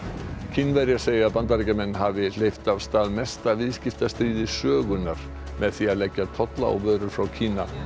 Kínverjar segja að Bandaríkjamenn hafi hleypt af stað mesta viðskiptastríði sögunnar með því að leggja tolla á vörur frá Kína